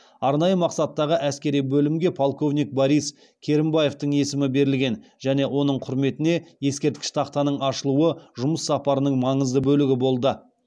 арнайы мақсаттағы әскери бөлімге полковник борис керімбаевтің есімі берілген және оның құрметіне ескерткіш тақтаның ашылуы жұмыс сапарының маңызды бөлігі болды